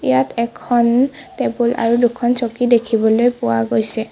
ইয়াত এখন টেবুল আৰু দুখন চকী দেখিবলৈ পোৱা গৈছে।